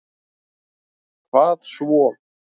hvað svo?